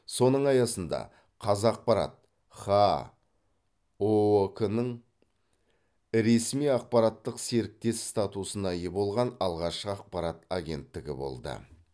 соның аясында қазақпарат хаа ұок нің ресми ақпараттық серіктес статусына ие болған алғашқы ақпарат агенттігі болды